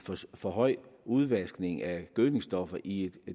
for høj udvaskning af gødningsstoffer i